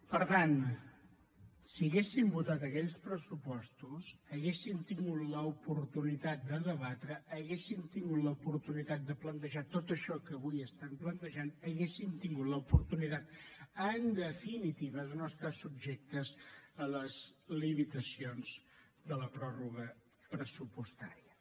per tant si haguéssim votat aquells pressupostos haguéssim tingut l’oportunitat de debatre haguéssim tingut l’oportunitat de plantejar tot això que avui plantegen hauríem tingut l’oportunitat en definitiva de no estar subjectes a les limitacions de la pròrroga pressupostària